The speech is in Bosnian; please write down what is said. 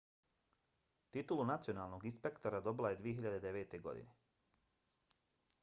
titulu nacionalnog inspektora dobila je 2009. godine